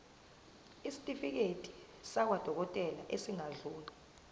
isitifiketi sakwadokodela esingadluli